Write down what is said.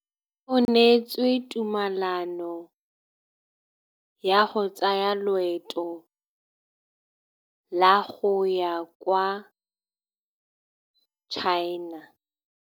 O neetswe tumalanô ya go tsaya loetô la go ya kwa China.